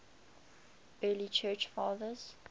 early church fathers